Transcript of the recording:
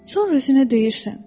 Sonra özünə deyirsən.